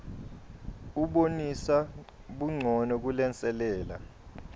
ubonisa buncono kulenselela